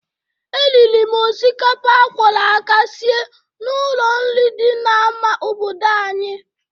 E riri m osikapa a kwọrọ aka sie n'ụlọ nri dị n'ama obodo anyị.